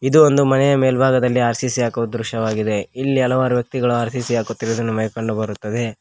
ಇದು ಒಂದು ಮನೆಯ ಮೇಲ್ಬಾಗದಲ್ಲಿ ಆರ್_ಸಿ_ಸಿ ಹಾಕುವ ದೃಶ್ಯವಾಗಿದೆ ಇಲ್ಲಿ ಹಲವಾರು ವ್ಯಕ್ತಿಗಳು ಆರ್_ಸಿ_ಸಿ ಹಾಕುತ್ತಿರುವುದನ್ನು ನಮಗೆ ಕಂಡು ಬರುತ್ತದೆ.